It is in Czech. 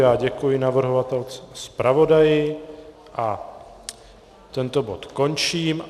Já děkuji navrhovatelce i zpravodaji a tento bod končím.